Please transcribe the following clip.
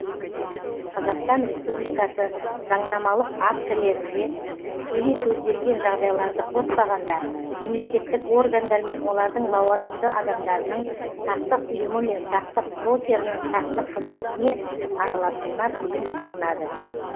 қазақстан республикасы заңнамалық актілерінде тікелей көзделген жағдайларды қоспағанда мемлекеттік органдар мен олардың лауазымды адамдарының сақтық ұйымы мен сақтық брокерінің сақтық қызметіне араласуына тыйым салынады